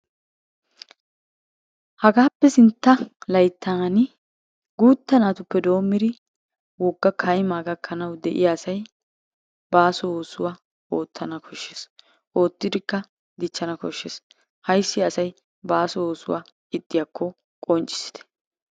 Hagaappe sintta layttaani guutta naatuppe doommin wogga kaymaa gakkanawu de"iyaa asay baaso oosuwa oottana koshshees. Oottidikka dichchana koshshees. Ayssi asay baaso oosuwa ixxiyaako qonccissite.